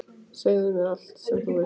Segðu mér allt sem þú veist.